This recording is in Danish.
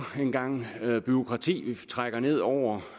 en gang bureaukrati vi trækker ned over